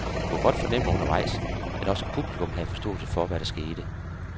Jeg kunne godt fornemme undervejs, at også publikum havde forståelse for, hvad der skete.